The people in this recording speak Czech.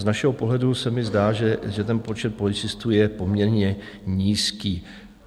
Z našeho pohledu se mi zdá, že ten počet policistů je poměrně nízký.